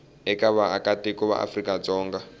eka vaakatiko va afrika dzonga